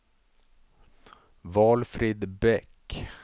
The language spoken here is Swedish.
Valfrid Bäck